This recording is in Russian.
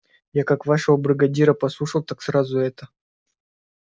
я как вашего бригадира послушал так сразу и это